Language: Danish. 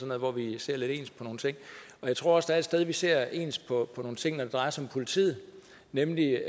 noget hvor vi ser lidt ens på nogle ting og jeg tror også der er et sted vi ser ens på nogle ting når det drejer sig om politiet nemlig